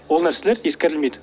ол нәрселер ескерілмейді